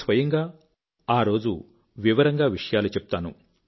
నేను స్వయంగా ఆరోజు వివరంగా విషయాలు చెప్తాను